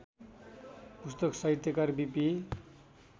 पुस्तक साहित्यकार बिपी